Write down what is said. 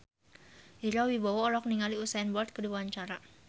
Ira Wibowo olohok ningali Usain Bolt keur diwawancara